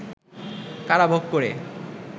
কারাভোগ করে